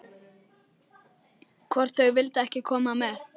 Hvort þau vildu ekki koma með?